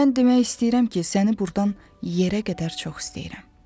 İndi mən demək istəyirəm ki, səni burdan yerə qədər çox istəyirəm.